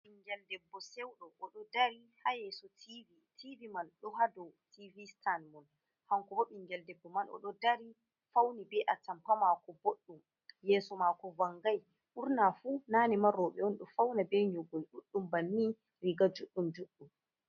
Ɓingel Debbo Seuɗo oɗo dari ha Yeso TV,tv man, ɗo ha dou TV Sitan. Kankobo ɓingel Debbo man oɗo dari Fauni be Atampa mako bodɗum, Yeso Mako vangai. Ɓurnafu nanema robe'on ɗo Fauna be nyogol ɗuɗdum banni Riga judɗum judɗum.